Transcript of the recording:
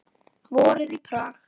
Vorið í Prag